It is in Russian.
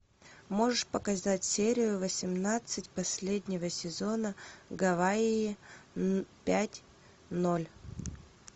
можешь показать серию восемнадцать последнего сезона гавайи пять ноль